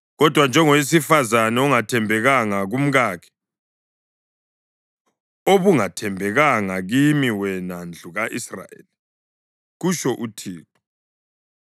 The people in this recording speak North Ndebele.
Kodwa njengowesifazane ongathembekanga kumkakhe, ubungathembekanga kimi wena ndlu ka-Israyeli,” kutsho uThixo.